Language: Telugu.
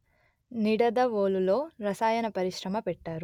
నిడదవోలు లో రసాయన పరిశ్రమ పెట్టారు